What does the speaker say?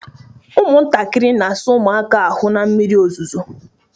Ụmụntakịrị na-asa ụmụaka ahụ na mmiri ozuzo